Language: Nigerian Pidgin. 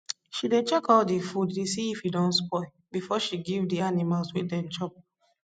she dey check all di food dey see if e don spoil before she give di animals wey dem chop